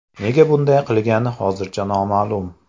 Nega bunday qilgani hozircha noma’lum.